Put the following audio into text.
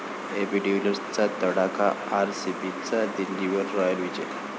AB डिव्हिलियर्सचा तडाखा, आरसीबीचा दिल्लीवर 'राॅयल' विजय